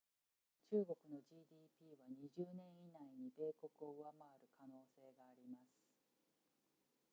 中国の gdp は20年以内に米国を上回る可能性があります